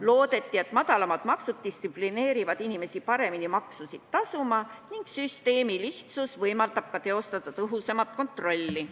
Loodeti, et madalamad maksud distsiplineerivad inimesi paremini maksusid tasuma ning süsteemi lihtsus võimaldab ka teostada tõhusamat kontrolli.